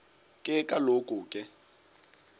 ke kaloku ke